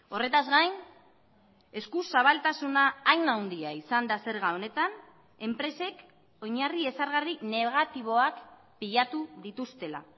horretaz gain eskuzabaltasuna hain handia izan da zerga honetan enpresek oinarri ezargarri negatiboak pilatu dituztela